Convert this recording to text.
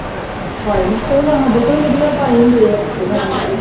ਪਾਏ ਹੁੰਦਿਆਂ ਉਹਨਾਂ ਨੇ ਸਾਡੇ ਤੋਂ ਵੀ ਵਧੀਆ ਪਾਏ ਹੁੰਦੇ ਆ